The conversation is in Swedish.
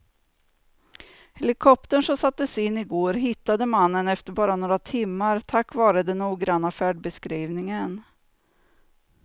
Helikoptern som sattes in i går hittade mannen efter bara några timmar tack vare den noggranna färdbeskrivningen.